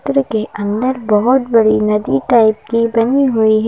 चित्र के अन्दर बहुत बड़ी नदी टाइप की बनी हुई है।